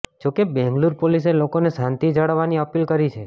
જો કે બેંગલુરુ પોલિસે લોકોને શાંતિ જાળવવાની અપીલ કરી છે